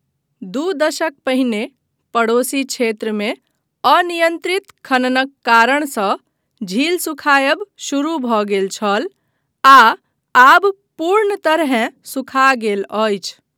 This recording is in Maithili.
दू दशक पहिने पड़ोसी क्षेत्रमे अनियन्त्रित खननक कारणसँ, झील सुखायब शुरू भऽ गेल छल आ आब पूर्ण तरहेँ सुखा गेल अछि।